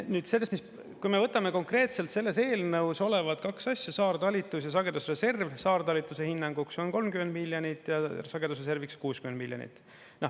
Nüüd, sellest, kui me võtame konkreetselt selles eelnõus olevad kaks asja – saartalitlus ja sagedusreserv –, siis saartalitluse hinnanguks on 30 miljonit ja sagedusreserviks 60 miljonit.